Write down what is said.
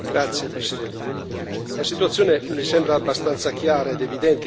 Presidente, la situazione mi sembra abbastanza chiara ed evidente.